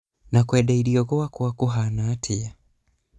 na kwenda irio gwaku kũhana atĩa?